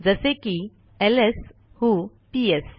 जसे की ls who PS